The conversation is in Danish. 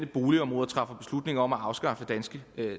boligområder træffer beslutning om at afskaffe danske